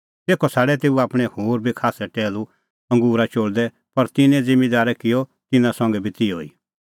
तेखअ छ़ाडै तेऊ आपणैं होर बी खास्सै टैहलू अंगूरा चोल़दै पर तिन्नैं ज़िम्मींदारै किअ तिन्नां संघै बी तिहअ ई